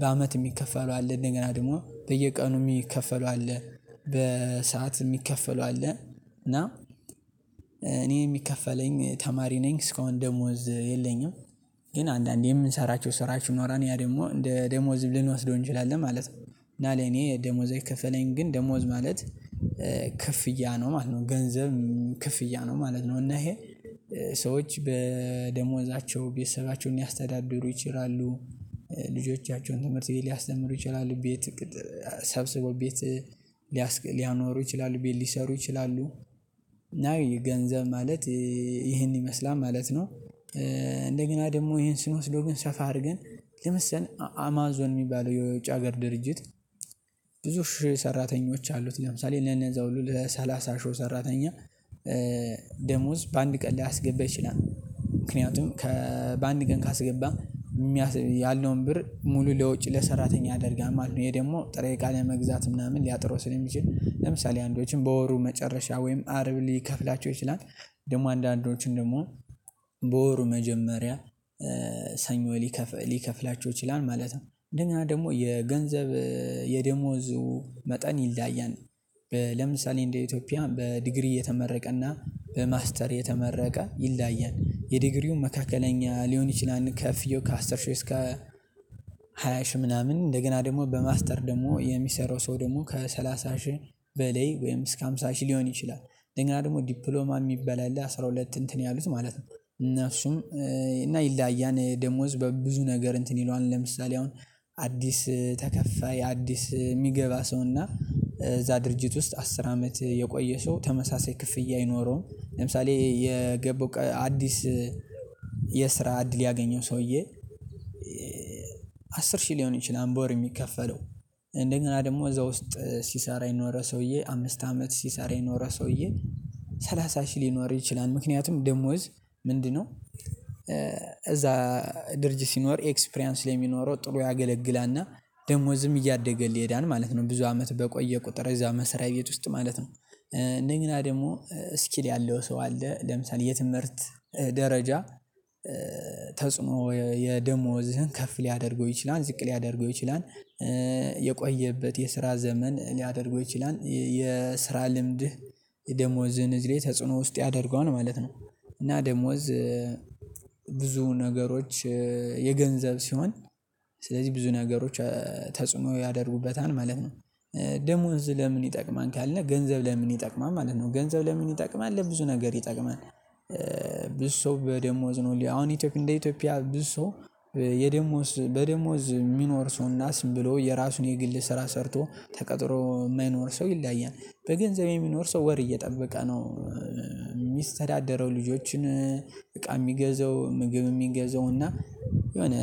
በአመት የሚከፈለው አለ እንደገና ደግሞ በየቀኑ የሚከፈለው አለ። በሰአት የሚከፈለው አለ። እና እኔ የሚከፈለኝ ተማሪ ነኝ እስከአሁን ደሞዝ የለኝም። ግን አንዳንዴ የምንሰራቸው ስራዎች ይኖራል ያ ደግሞ እንደ ደሞዝም ልንወስደው እንችላለን ማለት ነው። እና ለኔ ደሞዝ አይከፈለኝም ግን ደሞዝ ማለት ክፍያ ነው ማለት ነው ገንዘብ ክፍያ ነው ማለት ነው። እና ይሄ ሰዎች በደሞዛቸው ቤተሰባቸውን ያስተዳድሩ ይችላሉ ልጆቻቸውን ትምህርት ቤት ሊያስተምሩ ይችላሉ ቤት ሰብስቦ ቤት ሊያኖሩ ይችላሉ ቤት ሊሰሩ ይችላሉ። እና ገንዘብ ማለት ይሄን ይመስላል ማለት ነው። እንደገና ደግሞ ይሄን ስንወስደው ግን ሰፋ አድርገን ለምሳሌ አማዞን የሚባለው የውጭ ሀገር ድርጅት ብዙ ሺህ ሰራተኞች አሉት ለምሳሌ ለነዛ ሁሉ ለሰላሳ ሺህው ሰራተኛ ደሞዝ በአንድ ቀን ላያስገባ ይችላል። ምክንያቱም ከ በአንድ ቀን ካስገባ ያለውን ብር ሙሉ ለወጪ ለሰራተኛ ያደርጋል ማለት ነው። ይሄ ደግሞ ጥሬ እቃ ለመግዛት ምናምን ሊያጥረው ስለሚችል ለምሳሌ አንዶችም በወሩ መጨረሻ ወይም አርብ ሊከፍላቸው ይችላል ደግሞ አንዳንዶችን ደግሞ በወሩ መጀመሪያ ሰኞ ሊከፍላቸው ይችላል ማለት ነው። እንደገና ደግሞ የገንዘብ የደሞዙ መጠን ይለያያል። ለምሳሌ እንደ ኢትዮጵያ በዲግሪ የተመረቀና በማስተር የተመረቀ ይለያያል የዲግሪው መካከለኛ ሊሆን ይችላል ከፍያው ከአስር ሺህ እስከ ሃያ ሺህ ምናምን እንደገና ደግሞ በማስተር ደግሞ የሚሰራው ሰው ደግሞ ከሰላሳ ሺህ በላይ ወይም እስከ ሃምሳ ሺህ ሊሆን ይችላል። እንደገና ደግሞ ዲፕሎማ የሚባል አለ አስራ ሁለት እንትን ያሉት ማለት ነው። እነሱም እና ይለያያን ደሞዝ በብዙ ነገር እንትን ይለዋል ለምሳሌ አሁን አዲስ ተከፋይ አዲስ የሚገባ ሰውና እዛ ድርጅት ውስጥ አስር አመት የቆየ ሰው ተመሳሳይ ክፍያ አይኖረውም። ለምሳሌ የገቡ አዲስ የስራ እድል ያገኘው ሰውዬ አስር ሺህ ሊሆን ይችላል በወር የሚከፈለው እንደገና ደግሞ እዛ ውስጥ ሲሰራ የኖረ ሰውዬ አምስት አመት ሲሰራ የኖረ ሰውዬ ሰላሳ ሺህ ሊኖር ይችላል። ምክንያቱም ደሞዝ ምንድነው እዛ ድርጅት ሲኖር ኤክስፕሪያንስ ስለሚኖረው ጥሩ ያገለግላልና ደሞዝም እያደገልህ ይሄዳል ማለት ነው። ብዙ አመት በቆየህ ቁጥር እዛ መስሪያ ቤት ውስጥ ማለት ነው። እንደገና ደግሞ ስኪል ያለው ሰው አለ ለምሳሌ የትምህርት ደረጃ ተጽዕኖ የደሞዝህን ከፍ ሊያደርገው ይችላል ዝቅ ሊያደርገው ይችላል። የቆየህበት የስራ ዘመን ሊያደርገው ይችላል የስራ ልምድህ የደሞዝን እዝ ላይ ተጽዕኖ ውስጥ ያደርገዋል ማለት ነው። እና ደሞዝ ብዙ ነገሮች የገንዘብ ሲሆን ስለዚህ ብዙ ነገሮች ተጽዕኖ ያደርጉበታል ማለት ነው። ደሞዝ ለምን ይጠቅማል ካልን ገንዘብ ለምን ይጠቅማል ማለት ነው ገንዘብ ለምን ይጠቅማል ለብዙ ነገር ይጠቅማል። ብዙ ሰው በደሞዝ ነው አሁን ኢትዮጵያ እንደ ኢትዮጵያ ብዙ ሰው የደሞዝ በደሞዝ የሚኖር ሰው እና ዝም ብሎ የራሱን የግል ስራ ሰርቶ ተቀጥሮ የማይኖር ሰው ይለያያል በገንዘብ የሚኖር ሰው ወር እየጠበቀ ነው። የሚስተዳደረው ልጆችን እቃ ሚገዛው ምግብ ሚገዛው እና የሆነ